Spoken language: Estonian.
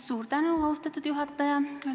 Suur tänu, austatud juhataja!